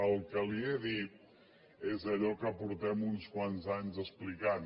el que li he dit és allò que fa uns quants anys que expliquem